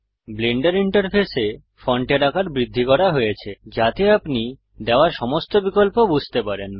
Blender ইন্টারফেসে ফন্টের আকার বৃদ্ধি করা হয়েছে যাতে আপনি দেওয়া সমস্ত বিকল্প বুঝতে পারেন